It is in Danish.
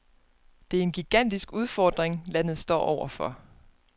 Det er en gigantisk udfordring, landet står over for.